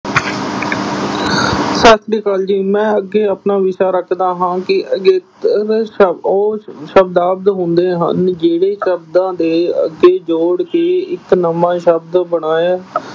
ਸਤਿ ਸ੍ਰੀ ਕਾਲ ਜੀ ਮੈਂ ਅੱਗੇ ਆਪਣਾ ਵਿਸ਼ਾ ਰੱਖਦਾ ਹਾਂ ਕਿ ਅਗੇਤਰ ਸ਼ਬ ਅਹ ਉਹ ਸ਼ਬਦ ਹੁੰਦੇ ਹਨ ਜਿਹੜੇ ਸ਼ਬਦਾਂ ਦੇ ਅੱਗੇ ਜੋੜ ਕੇ ਇੱਕ ਨਵਾਂ ਸ਼ਬਦ ਬਣਾਇਆ